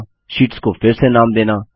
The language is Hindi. शीट्स को फिर से नाम देना